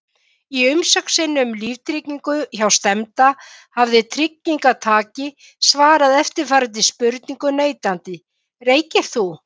Í umsókn sinni um líftryggingu hjá stefnda, hafi tryggingartaki svarað eftirfarandi spurningum neitandi: Reykir þú?